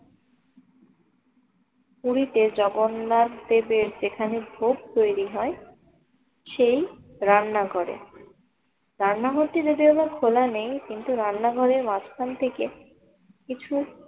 পুরিতে জগন্নাথ দেবের যেখানে ভোগ তৈরি হয় সেই রান্নাঘরে। রান্না করতে যদি ও বা খোলা নেই কিন্তু রান্নাঘরের মাঝখান থেকে কিছু